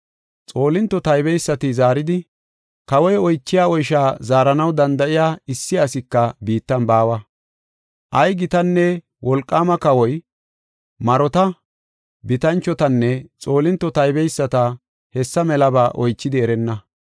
Xoolinto taybeysati zaaridi, “Kawoy oychiya oysha zaaranaw danda7iya issi asika biittan baawa. Ay gitanne wolqaama kawoy marota, bitanchotanne xoolinto taybeyisata hessa melaba oychidi erenna.